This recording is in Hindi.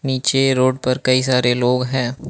नीचे रोड पर कई सारे लोग हैं।